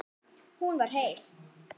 Hún var heil.